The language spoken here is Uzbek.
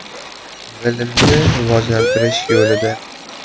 Bilimni rivojlantirish yo‘lida.